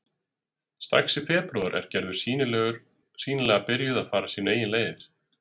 Strax í febrúar er Gerður sýnilega byrjuð að fara sínar eigin leiðir.